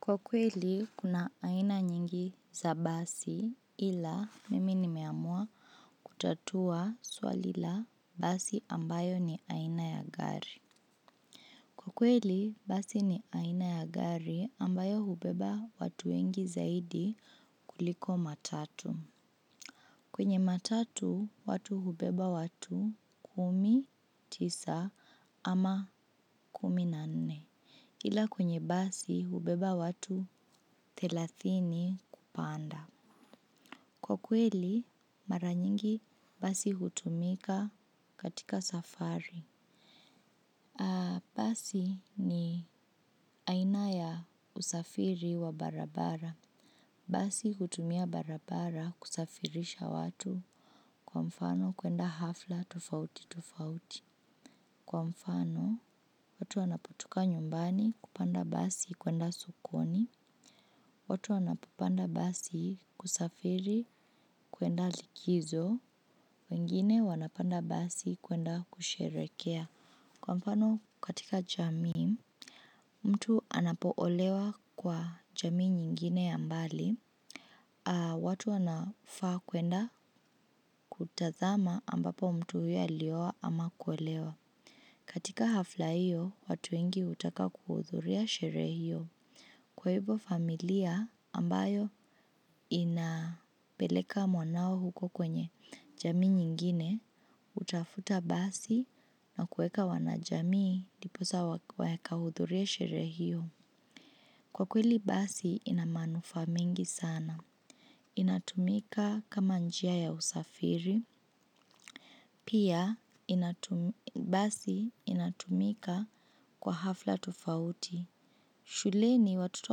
Kwa kweli, kuna aina nyingi za basi ila mimi nimeamua kutatua swalil a basi ambayo ni aina ya gari. Kwa kweli, basi ni aina ya gari ambayo hubeba watu wengi zaidi kuliko matatu. Kwenye matatu watu hubeba watu kumi, tisa ama kumi na nne. Ila kwenye basi hubeba watu thelathini kupanda. Kwa kweli, mara nyingi basi hutumika katika safari. Basi ni aina ya usafiri wa barabara. Basi hutumia barabara kusafirisha watu. Kwa mfano, kwenda hafla tofauti tofauti. Kwa mfano, watu wanapotoka nyumbani kupanda basi kwenda sokoni. Watu wanapopanda basi kusafiri kuenda likizo, wengine wanapanda basi kuenda kusherekea. Kwa mfano, katika jamii mtu anapoolewa kwa jamii nyingine ya mbali, watu wanafaa kwenda kutazama ambapo mtu huyo ilioa ama kuolewa. Katika hafla hiyo, watu wengi hutaka kuhudhuria sherehe hiyo. Kwa hivyo familia ambayo inapeleka mwanao huko kwenye jamii nyingine, kutafuta basi na kueka wanajamii ndiposa wakahudhurie sherehe hio. Kwa kweli basi ina manufaa mingi sana. Inatumika kama njia ya usafiri, pia basi inatumika kwa hafla tofauti. Shuleni watoto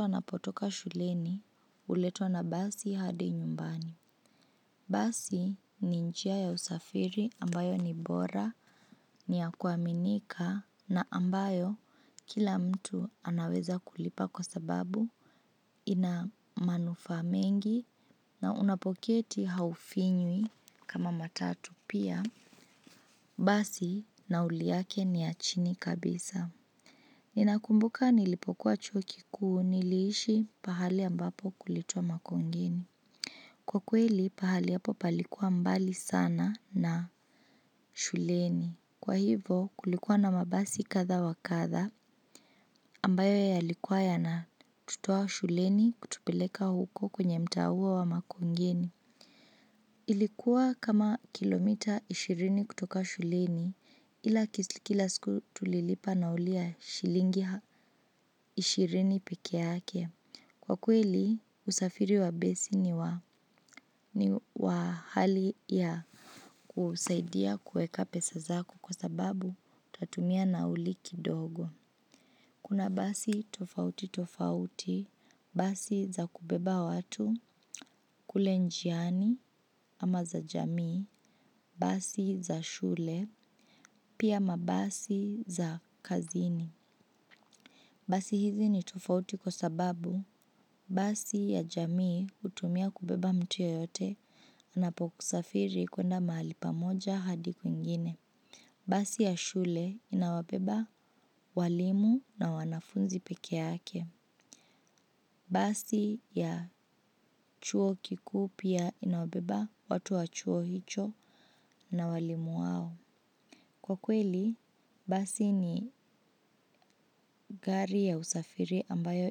wanapotoka shuleni huletwa na basi hadi nyumbani. Basi ni njia ya usafiri ambayo ni bora ni ya kuaminika na ambayo kila mtu anaweza kulipa kwa sababu ina manufaa mengi na unapoketi haufinywi kama matatu pia. Basi nauli yake ni ya chini kabisa. Ninakumbuka nilipokuwa chuo kikuu niliishi mahali ambapo. Kwa kweli pahali hapo palikuwa mbali sana na shuleni. Kwa hivo kulikuwa na mabasi kadha wa kadha ambayo yalikuwa yanatutoa shuleni kutupeleka huko kwenye mtaa huo wa makongeni. Ilikuwa kama kilomita ishirini kutoka shuleni ila kila siku tulilipa nauli ya shilingi ishirini peke yake. Kwa kweli, usafiri wa basi ni wa hali ya kusaidia kuweka pesa zako kwa sababu utatumia nauli kidogo. Kuna basi tofauti tofauti, basi za kubeba watu, kule njiani ama za jamii, basi za shule, pia mabasi za kazini. Basi hizi ni tofauti kwa sababu basi ya jamii hutumia kubeba mtu yeyote anapokusafiri kwenda mahali pamoja hadi kwingine. Basi ya shule inawabeba walimu na wanafunzi peke yake. Basi ya chuo kikuu pia inawabeba watu wa chuo hicho na walimu wao. Kwa kweli, basi ni gari ya usafiri ambayo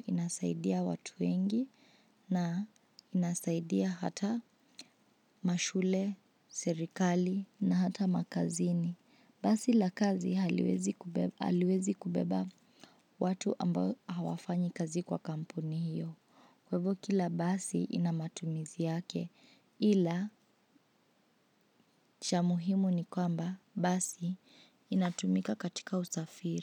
inasaidia watu wengi na inasaidia hata mashule, serikali na hata makazini. Basi la kazi haliwezi kubeba watu ambao hawafanyi kazi kwa kampuni hiyo. Kwa hivo kila basi ina matumizi yake, ila cha muhimu ni kwamba, basi inatumika katika usafiri.